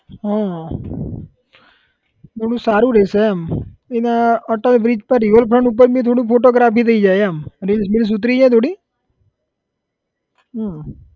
હા થોડું સારું રહેશે એમ અને અટલ bridge કે river front ઉપર નું થોડું photography થઇ જાય એમ reels બિલ્સ ઉતરી જાય થોડી હમ